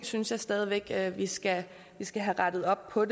synes stadig væk at vi skal skal have rettet op på